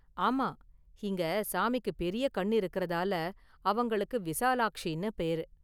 ஆமா, இங்க சாமிக்கு பெரிய கண்ணு இருக்குறதால அவங்களுக்கு விசாலாக்ஷின்னு பேரு.